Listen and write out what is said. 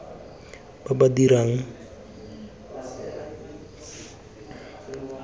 ba ba dirang kwalelano ba